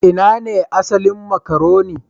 Ina ne asalin makaroni?